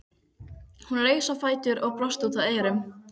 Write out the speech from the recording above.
Hún reis á fætur og brosti út að eyrum.